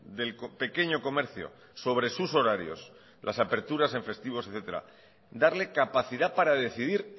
del pequeño comercio sobre sus horarios las aperturas en festivos etcétera darle capacidad para decidir